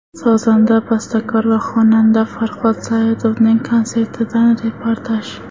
Sozanda, bastakor va xonanda Farhod Saidovning konsertidan reportaj .